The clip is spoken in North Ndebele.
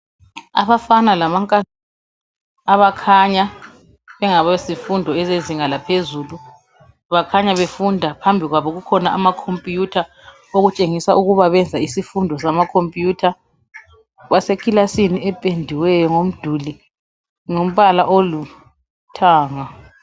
Abafana lamankazana abakhanya bengabezifundo ezezinga laphezulu bakhanya befunda, phambi kwabo kukhona ama computer, okutshengisa ukuba benza isifundo sama computer basekilasini ependiweyo ngomduli ngombala oluthanga